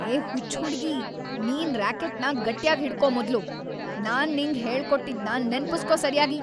ಏ ಹುಚ್ಚ್ ಹುಡ್ಗಿ! ನಿನ್ ರ್ಯಾಕೆಟ್‌ನ ಗಟ್ಯಾಗ್‌ ಹಿಡ್ಕೋ ಮೊದ್ಲು. ನಾನ್‌ ನಿಂಗ್ ಹೇಳ್ಕೊಟ್ಟಿದ್ನ ನೆನ್ಪುಸ್ಕೋ ಸರ್ಯಾಗಿ.